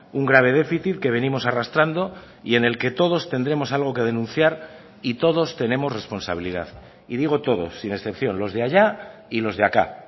un grave déficit que venimos arrastrando y en el que todos tendremos algo que denunciar y todos tenemos responsabilidad y digo todos sin excepción los de allá y los de acá